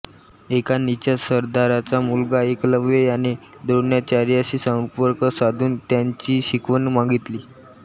एका निषाद सरदाराचा मुलगा एकलव्य याने द्रोणाचार्यांशी संपर्क साधून त्यांची शिकवण मागितली